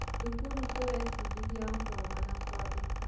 Thukuru tũraĩfundithĩa gũthoma na kuandika